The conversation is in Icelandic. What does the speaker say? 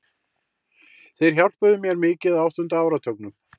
Þeir hjálpuðu mér mikið á áttunda áratugnum.